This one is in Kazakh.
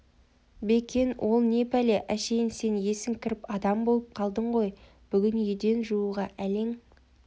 бекен ол не пәле әшейін сен есің кіріп адам болып қалдың ғой бүгін еден жууға әлің